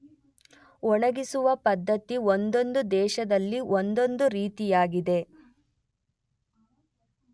ಒಣಗಿಸುವ ಪದ್ಧತಿ ಒಂದೊಂದು ದೇಶದಲ್ಲಿ ಒಂದೊಂದು ರೀತಿಯಾಗಿದೆ.